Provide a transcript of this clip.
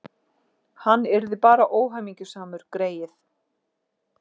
Hann yrði bara óhamingjusamur, greyið.